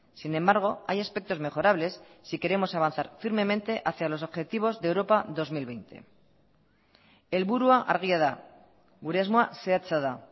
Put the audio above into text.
sin embargo hay aspectos mejorables si queremos avanzar firmemente hacia los objetivos de europa dos mil veinte helburua argia da gure asmoa zehatza da